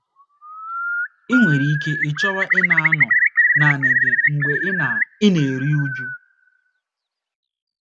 I nwere ike ịchọwa ịna - anọ naanị gị mgbe ị na - ị na - eru uju.